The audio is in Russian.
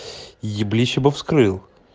еблище бы вскрыл